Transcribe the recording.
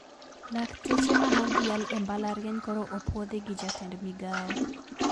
Lakteche manodhial e mbalariany koro opuodhi gi jatend migao